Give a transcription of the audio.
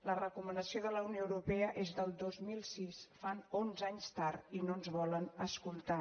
la recomanació de la unió europea és del dos mil sis fan onze anys tard i no ens volen escoltar